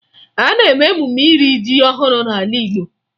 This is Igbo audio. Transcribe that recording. A na-eme emume iri ji ọhụrụ n'ala Igbo